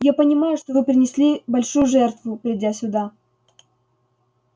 я понимаю что вы принесли большую жертву придя сюда